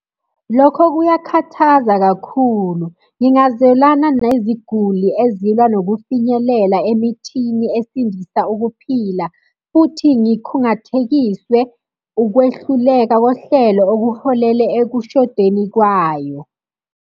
Lokho kuyakhathaza kakhulu, ngingazwelana neziguli ezilwa nokufinyelela emithini esindisa ukuphila, futhi ngikhungathekiswe ukwehluleka kohlelo okuholele ekushodeni kwayo.